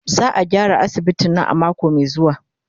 Za a gyara asibitin nan a mako mai zuwa.